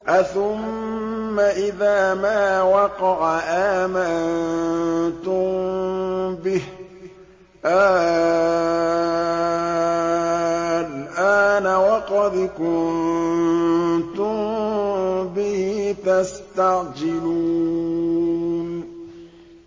أَثُمَّ إِذَا مَا وَقَعَ آمَنتُم بِهِ ۚ آلْآنَ وَقَدْ كُنتُم بِهِ تَسْتَعْجِلُونَ